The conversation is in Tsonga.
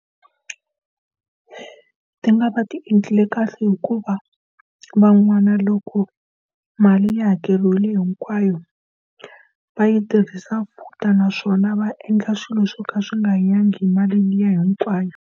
Ti nga va ti endlile kahle hikuva van'wana loko mali ya hakeriwile hinkwayo, va yi tirhisa for futa naswona va endla swilo swo ka swi nga hanyangi hi mali liya hinkwayo.